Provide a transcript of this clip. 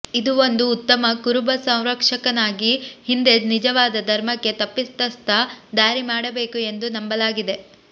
ಇದು ಒಂದು ಉತ್ತಮ ಕುರುಬ ಸಂರಕ್ಷಕನಾಗಿ ಹಿಂದೆ ನಿಜವಾದ ಧರ್ಮಕ್ಕೆ ತಪ್ಪಿತಸ್ಥ ದಾರಿ ಮಾಡಬೇಕು ಎಂದು ನಂಬಲಾಗಿದೆ